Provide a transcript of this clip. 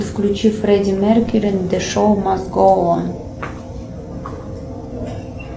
включи фредди меркьюри зе шоу маст гоу он